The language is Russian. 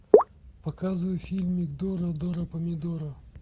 показывай фильмик дора дора помидора